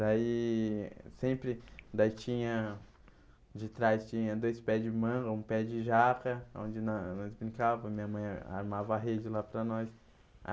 Daí sempre daí tinha... De trás tinha dois pés de manga, um pé de jaca, onde nós nós brincávamos, minha mãe armava a rede lá para nós.